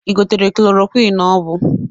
Ị gotere kloroquiñ ọ bụ?